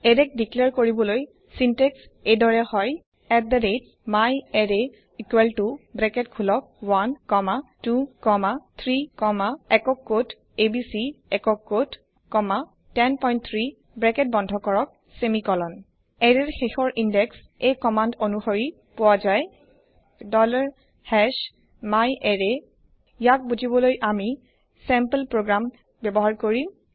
এৰেক declare কৰিবলৈ syntax এই দৰে হয় myArray ব্রাকেট খোলক 1 কমা 2 কমা 3 কমা একক কোট এবিচি একক কোট কমা 103 ব্রাকেট বন্ধ কৰক সেমিকলন এৰেৰ শেষৰ ইন্দেক্স এই কমান্দ অনোসৰি পোৱা যায় myArray ইয়াক বোজিবলৈ আমি স্যাম্পল প্ৰোগ্ৰাম ব্যৱহাৰ কৰিম